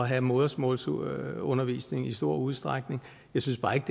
have modersmålsundervisning i stor udstrækning jeg synes bare ikke